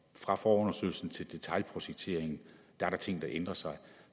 fra forundersøgelsen til detailprojekteringen er ting der ændrer sig